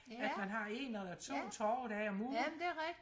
at man har en eller to torvedage om ugen